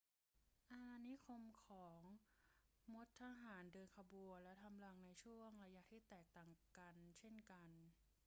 อาณานิคมของมดทหารเดินขบวนและทำรังในช่วงระยะที่แตกต่างกันเช่นกัน